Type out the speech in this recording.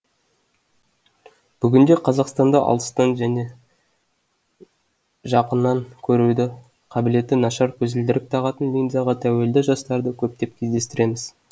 бүгінде қазақстанда алыстан және жақынан көрудің қабілеті нашар көзілдірік тағатын линзаға тәуелді жастарды көптеп кездестіреміз